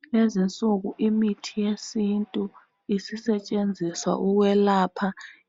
Kulezi insuku imithi yesintu isisetshenziswa ukwelapha